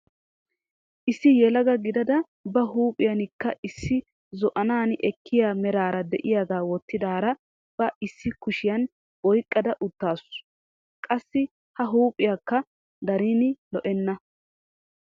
Issi yelaga gidada ba huuphphiyaankka issi zo"anaani ekkiyaa meraara de'iyaaga wottidara ba issi kushiyaan oyqqada uttaasu. qassi ha huuphpheekka darin lo"ena.